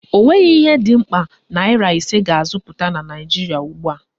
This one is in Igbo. Ọ nweghị ihe dị mkpa naịra ise ga-azụta na Naijiria ugbua